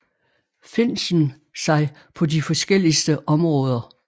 Finsen sig på de forskelligste områder